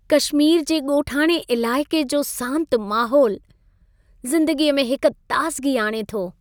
कशमीर जे ॻोठाणे इलाइक़े जो सांति माहोलु, ज़िंदगीअ में हिक ताज़िगी आणे थो।